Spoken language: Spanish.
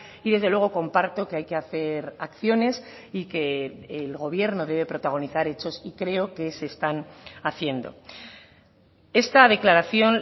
y desde luego comparto que hay que hacer acciones y que el gobierno debe protagonizar hechos y creo que se están haciendo esta declaración